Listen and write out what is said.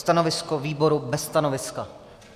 Stanovisko výboru - bez stanoviska.